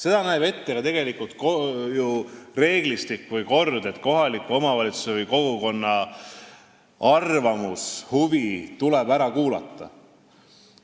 Ka reeglistik või kord näeb ette seda, et kohaliku omavalitsuse või kogukonna arvamus tuleb ära kuulata.